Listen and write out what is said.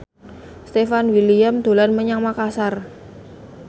Stefan William dolan menyang Makasar